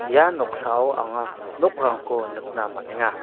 ia noksao anga nokrangko nikna man·enga.